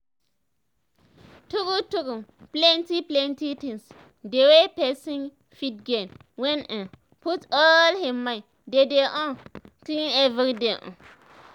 tru tru plenti plenti things dey wey pesin fit gain when e um put all him mind dey dey um clean everyday um